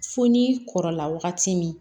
Fo ni kɔrɔla wagati min